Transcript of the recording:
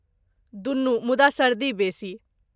दुनू, मुदा सर्दी बेसी।